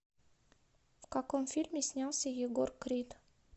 в каком фильме снялся егор крид